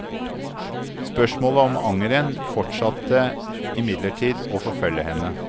Spørsmålet om angeren fortsatte imidlertid å forfølge henne.